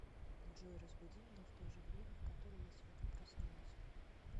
джой разбуди меня в то же время в которое я сегодня проснулась